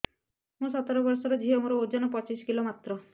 ମୁଁ ସତର ବୟସର ଝିଅ ମୋର ଓଜନ ପଚିଶି କିଲୋ ମାତ୍ର